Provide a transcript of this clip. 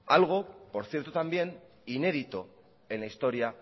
algo por cierto también inédito en la historia